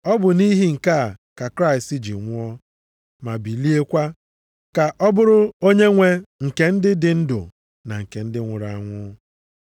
Ọ bụ nʼihi nke a ka Kraịst ji nwụọ, ma biliekwa, ka ọ bụrụ Onyenwe nke ndị dị ndụ na nke ndị nwụrụ anwụ.